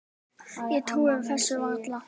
Ég trúi þessu varla